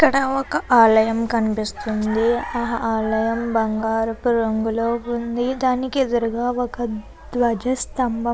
ఇక్కడ ఒక ఆలయం కనిపిస్తుంది ఆ ఆలయం బంగారపు రంగు లో వుంది దానికి ఎదురు గ ఒక ధ్వజస్తంభం --